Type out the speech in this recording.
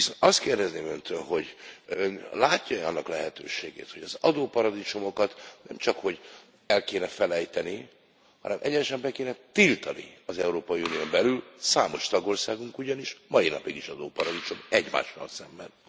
Azt kérdezném Öntől, hogy Ön látja e annak lehetőségét, hogy az adóparadicsomokat nemcsak, hogy el kéne felejteni, hanem egyenesen be kéne tiltani az Európai Unión belül számos tagországunk ugyanis mai napig is adóparadicsom egymással szemben.